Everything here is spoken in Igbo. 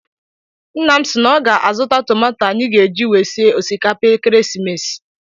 Nna m si na ọ bụ ga a zụta tomato anyị ga eji wee sie osikapa ekeresimesi.